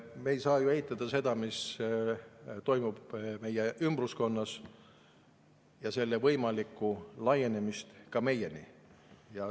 Me ei saa ju eitada seda, mis toimub meie ümber, ja selle võimalikku laienemist ka meieni.